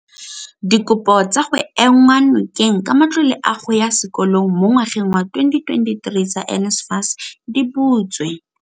Dikopo tsa go enngwa nokeng ka matlole a go ya sekolong mo ngwageng wa 2023 tsa NSFAS di butswe.